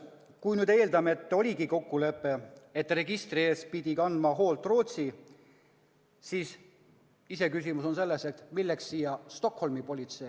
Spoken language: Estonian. Kui me eeldame, et oligi kokkulepe, et arhiivi eest peab kandma hoolt Rootsi, siis iseküsimus on, miks Stockholmi politsei.